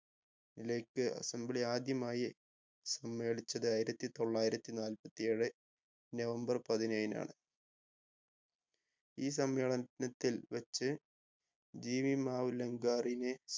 ലേക്ക് assembly ആദ്യമായി സമ്മേളിച്ചത് ആയിരത്തി തൊള്ളായിരത്തി നാല്പത്തി ഏഴ് നവംബർ പതിനേഴിനാണ് ഈ സമ്മേള നത്തിൽ വെച്ചു GV മാവുലങ്കാറിനെ